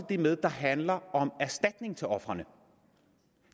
det med der handler om erstatning til ofrene